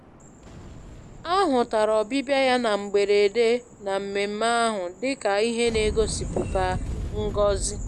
A hụtara ọbịbịa ya na mgberede na mmemmé ahụ dị ka ihe na-egosipụta ngọzi